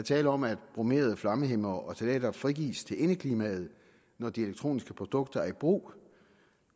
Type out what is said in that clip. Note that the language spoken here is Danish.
tale om at bromerede flammehæmmere og ftalater frigives til indeklimaet når de elektroniske produkter er i brug